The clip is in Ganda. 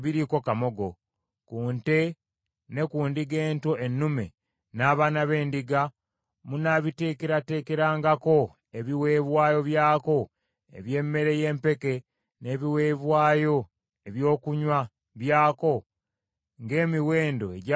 Ku nte ne ku ndiga ento ennume, n’abaana b’endiga munaabiteekerateekerangako ebiweebwayo byako eby’emmere y’empeke n’ebiweebwayo ebyokunywa byako ng’emiwendo egyalagirwa bwe giri.